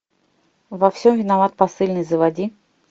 во всем виноват посыльный заводи